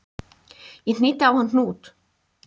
Ég hnýtti á hann hnút